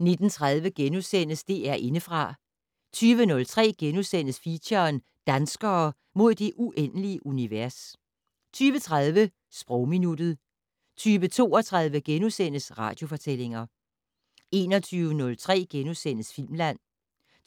19:30: DR Indefra * 20:03: Feature: Danskere - mod det uendelige univers * 20:30: Sprogminuttet 20:32: Radiofortællinger * 21:03: Filmland